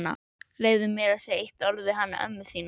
Leyfðu mér að segja eitt orð við hana ömmu þína.